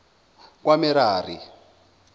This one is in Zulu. kwamerari